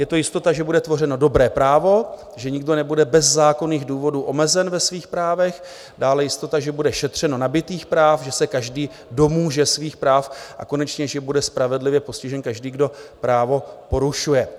Je to jistota, že bude tvořeno dobré právo, že nikdo nebude bez zákonných důvodů omezen ve svých právech, dále jistota, že bude šetřeno nabytých práv, že se každý domůže svých práv a konečně že bude spravedlivě postižen každý, kdo právo porušuje."